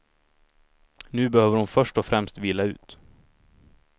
Nu behöver hon först och främst vila ut.